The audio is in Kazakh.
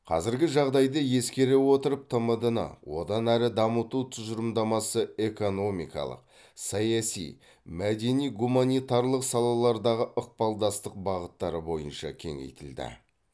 қазіргі жағдайды ескере отырып тмд ны одан әрі дамыту тұжырымдамасы экономикалық саяси мәдени гуманитарлық салалардағы ықпалдастық бағыттары бойынша кеңейтілді